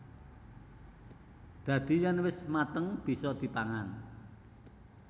Dadi yèn wis mateng bisa dipangan